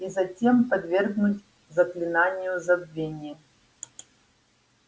и затем подвергнуть заклинанию забвения